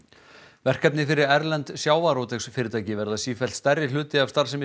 verkefni fyrir erlend sjávarútvegsfyrirtæki verða sífellt stærri hluti af starfsemi